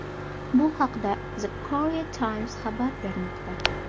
Bu haqda The Korea Times xabar bermoqda .